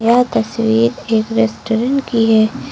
यह तस्वीर एक रेस्टोरेंट की है।